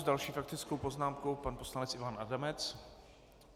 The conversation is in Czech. S další faktickou poznámkou pan poslanec Ivan Adamec.